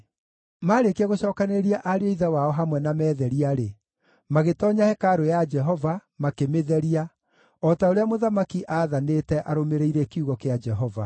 Maarĩkia gũcookanĩrĩria ariũ a ithe wao hamwe na meetheria-rĩ, magĩtoonya hekarũ ya Jehova, makĩmĩtheria, o ta ũrĩa mũthamaki aathanĩte arũmĩrĩire kiugo kĩa Jehova.